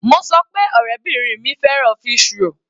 Mo sọ pé ọ̀rẹ́bìrin mi fẹ́ràn fish roll.